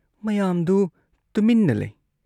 ꯃꯌꯥꯝꯗꯨꯨ ꯇꯨꯃꯤꯟꯅ ꯂꯩ ꯫